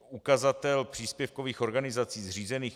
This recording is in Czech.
Ukazatel příspěvkových organizací zřízených